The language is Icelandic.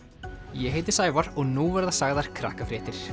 ég heiti Sævar og nú verða sagðar